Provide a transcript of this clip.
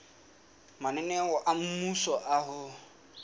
mananeo a mmuso a ho